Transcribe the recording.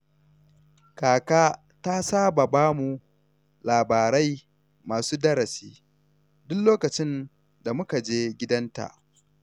Kaka ta saba ba mu labarai masu darasi duk lokacin da muka je gidanta.